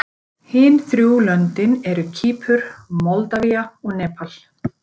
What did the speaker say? Hin þrjú löndin eru Kýpur, Moldavía og Nepal.